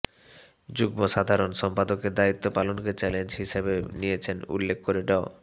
যুগ্মসাধারণ সম্পাদকের দায়িত্ব পালনকে চ্যালেঞ্জ হিসেবে নিয়েছেন উল্লেখ করে ড